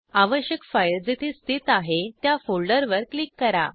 आवश्यक फाईल जेथे स्थित आहे त्या फोल्डरवर क्लिक करा